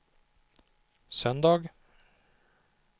söndag